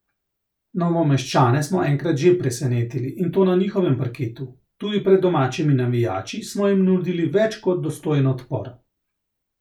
Novomeščane smo enkrat že presenetili in to na njihovem parketu, tudi pred domačimi navijači smo jim nudili več kot dostojen odpor.